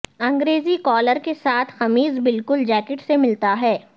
انگریزی کالر کے ساتھ قمیض بالکل جیکٹ سے ملتا ہے